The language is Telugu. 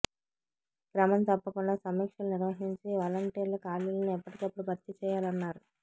క్రమం తప్పకుండా సమీక్షలు నిర్వహించి వలంటీర్ల ఖాళీలను ఎప్పటికప్పుడు భర్తీ చేయాలన్నారు